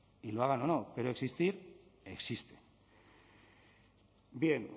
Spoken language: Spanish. y lo hagan o no pero existir existen bien